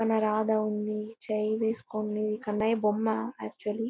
మన రాధ ఉంది. చెయ్ వేసుకుని కన్నయ్య బొమ్మ. యాక్చువల్లీ --